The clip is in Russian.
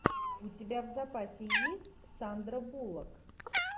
у тебя в запасе есть сандра буллок